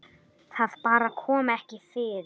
Það bara kom ekki fyrir.